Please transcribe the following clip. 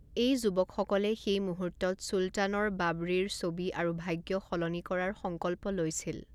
এই যুৱকসকলে সেই মুহূৰ্তত চুলতানৰ বাৱড়ীৰ ছবি আৰু ভাগ্য সলনি কৰাৰ সংকল্প লৈছিল।